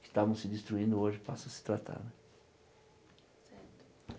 que estavam se destruindo hoje passam a se tratar.